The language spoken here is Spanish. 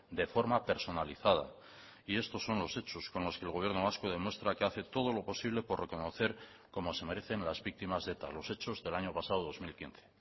de forma personalizada y estos son los hechos con los que el gobierno vasco demuestra que hace todo lo posible por reconocer como se merecen las víctimas de eta los hechos del año pasado dos mil quince